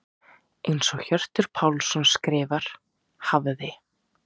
Eins og Hjörtur Pálsson skrifar: Hafði.